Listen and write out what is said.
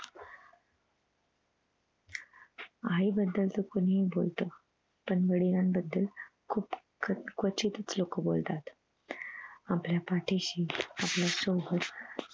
आई बदल तर कोणीही बोलत पण वडिलांन बदल खुप कवचीत च लोक बोलतात आपल्या पाठीशी आपल्या सोबत